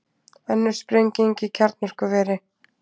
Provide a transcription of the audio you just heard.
Önnur sprenging í kjarnorkuveri